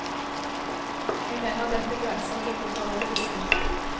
Jeg mener dette grenser til det parodiske.